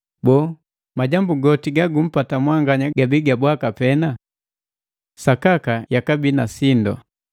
Boo, majambu goti gagumpata mwanganya gabii ga bwaka pena? Sakaka yakabii na sindu!